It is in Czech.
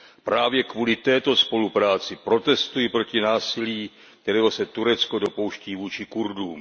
Právě kvůli této spolupráci protestuji proti násilí, kterého se Turecko dopouští vůči Kurdům.